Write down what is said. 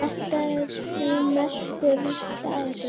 Þetta er því merkur staður.